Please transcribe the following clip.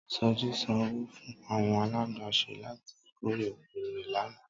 Sọjí san owó fún àwọn alágbàṣe láti kórè oko rẹ lánàá